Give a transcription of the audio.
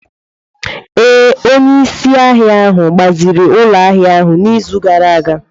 Ee, onye isi ahịa ahụ gbaziri ụlọ ahịa ahu n'izu gara aga.